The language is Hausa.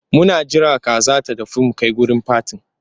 Muna jira kaza ta gasu mu kai wurin fatin.